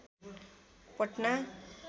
Patna